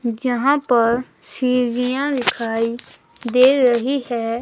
जहां पर सीढ़ियां दिखाई दे रही हैं।